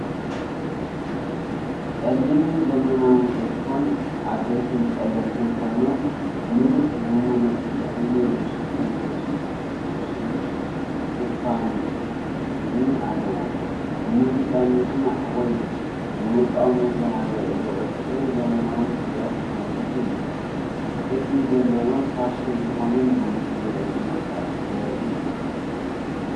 ጸሊምን ዘመናውን ኤድፎን፣ ዓበይትን ጸለምትን ኮይኖም፡ ምሉእ ብምሉእ ንእዝኒ ዝሽፍን ልስሉስ ሽፋን እዝኒ ኣለዎም። ንሙዚቃ ንምስማዕ ወይ ንውልቃዊ መዘናግዒ ዝውዕል ጽሩይን ዘመናውን ፍርያት ቴክኖሎጂ እዩ። ቅዲ ዘለዎን ፋሽን ዝኾነን ብሉቱዝ ርእሲ መሳርሒ ዘርኢ እዩ።